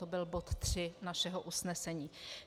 To byl bod 3 našeho usnesení.